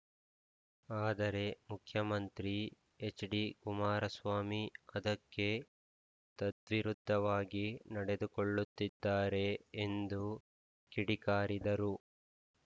ಆದರೆ ಮುಖ್ಯಮಂತ್ರಿ ಎಚ್‌ಡಿಕುಮಾರಸ್ವಾಮಿ ಅದಕ್ಕೆ ತದ್ವಿರುದ್ಧವಾಗಿ ನಡೆದುಕೊಳ್ಳುತ್ತಿದ್ದಾರೆ ಎಂದು ಕಿಡಿಕಾರಿದರು